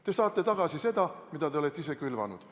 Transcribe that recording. Te saate tagasi seda, mida te olete ise külvanud.